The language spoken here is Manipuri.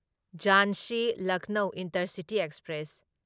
Jhansi Lucknow intercity express